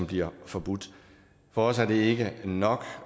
bliver forbudt for os er det ikke nok